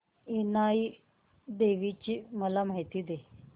इनाई देवीची मला माहिती दे